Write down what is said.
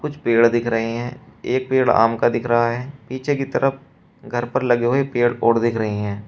कुछ पेड़ दिख रहे हैं एक पेड़ आम का दिख रहा है पीछे की तरफ घर पर लगे हुए पेड़ और दिख रहे हैं।